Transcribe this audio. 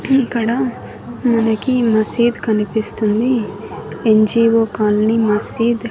ఇక్కడ మనకి మసీద్ కనిపిస్తుంది ఎన్_జీ_ఓ కాలని మసీద్ .